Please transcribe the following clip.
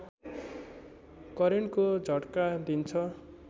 करेन्टको झट्का दिन्छ